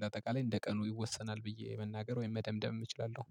በአጠቃላይ እንደ ቀኑ ይወሰናል ብዬ መናገር ወይም መደምደም እችላለሁ